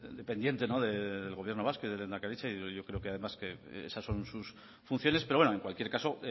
dependiente del gobierno vasco y de lehendakaritza y yo creo que además esas son sus funciones pero bueno en cualquier caso